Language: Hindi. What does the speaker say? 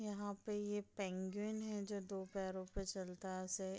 यहाँ पे ये पेंग्विन है जो दो पैरों पे चलता ऐसे --